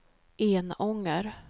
Enånger